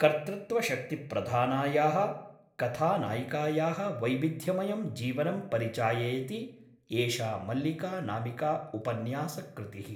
कर्तृत्वशक्तिप्रधानायाः कथानायिकायाः वैविध्यमयं जीवनं परिचाययति एषा मल्लिका'नामिका उपन्यासकृतिः ।